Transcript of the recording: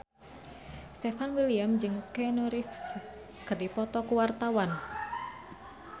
Stefan William jeung Keanu Reeves keur dipoto ku wartawan